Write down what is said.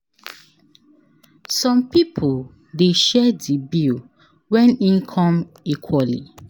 Some pipo de share di bill when in come equally